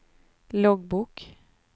loggbok